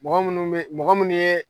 Mɔgɔ minnu bɛ, mɔgɔ minnu ye